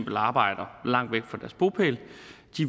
arbejder langt væk fra deres bopæl